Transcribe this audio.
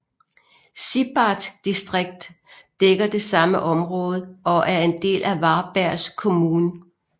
Sibbarp distrikt dækker det samme område og er en del af Varbergs kommun